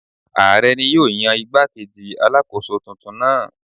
Ààrẹ ni yóò yan igbá-kejì Alákóso tuntun náà.